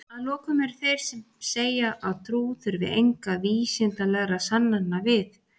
að lokum eru þeir sem segja að trú þurfi engra vísindalegra sannana við